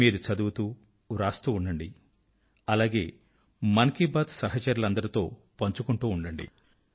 మీరు చదువుతూ వ్రాస్తూ ఉండండి అలాగే మన్ కీ బాత్ యొక్క అందరు సహచరులతో పంచుకుంటూ ఉండండి